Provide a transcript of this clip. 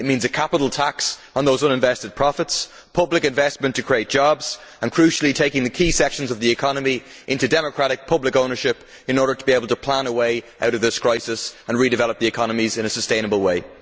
It means a capital tax on those uninvested profits, public investment to create jobs and, crucially, taking the key sections of the economy into democratic public ownership in order to be able to plan a way out of this crisis and redevelop the economies in a sustainable way.